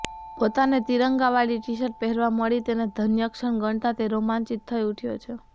પોતાને તિરંગાવાળી ટીશર્ટ પહેરવા મળી તેને ધન્યક્ષણ ગણતાં તે રોમાંચિત થઈ ઊઠ્યો છે